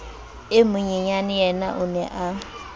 e monyenyaneyena o ne a